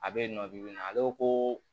A bɛ yen nɔ bibi in na ale ko ko